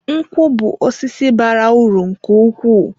Nkwu bú osisi bara uru nke ukwuu